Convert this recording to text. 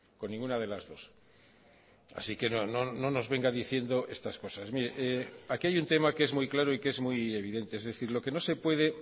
con ninguna de las dos así que no nos venga diciendo estas cosas mire aquí hay un tema que es muy claro y que es muy evidente es decir lo que no se puede